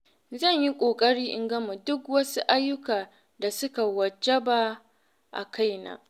Zan yi ƙoƙari in gama duk wasu ayyuka da suka wajaba a kaina.